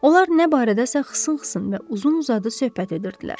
Onlar nə barədəsə xısın-xısın və uzun-uzadı söhbət edirdilər.